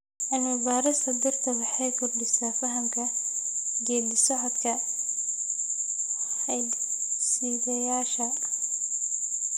Cilmi-baarista dhirta waxay kordhisaa fahamka geeddi-socodka hidde-sideyaasha.